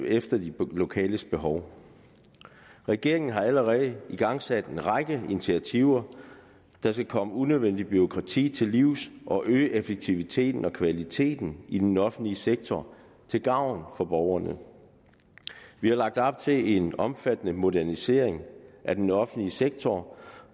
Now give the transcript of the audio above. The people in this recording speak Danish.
efter de lokale behov regeringen har allerede igangsat en række initiativer der skal komme unødvendigt bureaukrati til livs og øge effektiviteten og kvaliteten i den offentlige sektor til gavn for borgerne vi har lagt op til en omfattende modernisering af den offentlige sektor